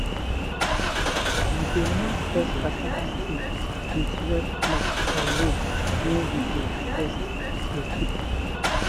we dey mark best cassava stick with red cloth or rope when we dey harvest to keep am.